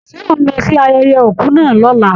Ṣé ó ń lọ sí ayẹyẹ òkú náà lọ̀la?